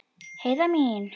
Heiða mín.